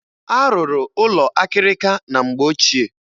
A rụrụ ụlọ akịrịka na mgbe ochie.